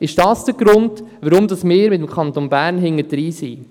» Ist dies der Grund, weshalb der Kanton Bern im Rückstand ist?